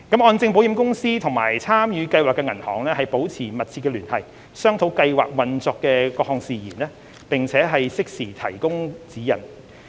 按證保險公司與參與計劃的銀行保持密切聯繫，商討計劃運作的各項事宜，並適時提供指引。